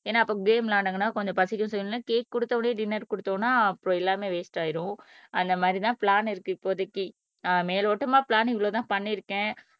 ஏன்னா அப்ப கேம் விளையாடுனாங்கன்னா கொஞ்சம் பசிக்கும்ன்னு சொல்லி கேக் கொடுத்த உடனே டின்னர் கொடுத்த உடனே அப்புறம் எல்லாமே வேஸ்ட் ஆயிடும் அந்த மாதிரிதான் பிளான் இருக்கு இப்போதைக்கு அஹ் மேலோட்டமா பிளான் இவ்வளவுதான் பண்ணிருக்கேன்